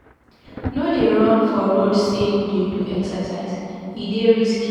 No dey run for road sey you dey do exercise, e dey risky.